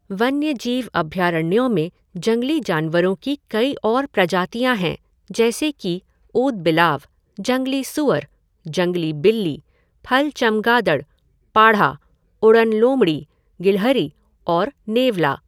वन्यजीव अभयारण्यों में जंगली जानवरों की कई और प्रजातियां हैं, जैसे कि ऊदबिलाव, जंगली सूअर, जंगली बिल्ली, फल चमगादड़, पाढ़ा, उड़न लोमड़ी, गिलहरी और नेवला।